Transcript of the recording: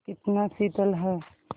कितना शीतल है